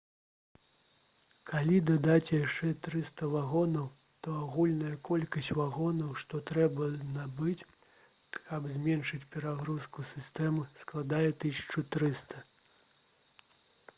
калі дадаць яшчэ 300 вагонаў то агульная колькасць вагонаў што трэба набыць каб зменшыць перагрузку сістэмы складзе 1300